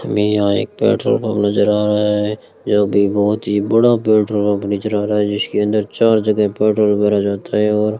हमे यहां एक पेट्रोल पंप नज़र आ रहा है यह भी बहुत ही बड़ा पेट्रोल पंप नज़र आ रहा है जिसके अंदर चार जगह पेट्रोल भरा जाता है और --